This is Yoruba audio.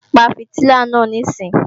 Pa fìtílà náà níìsín!